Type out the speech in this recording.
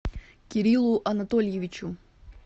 кириллу анатольевичу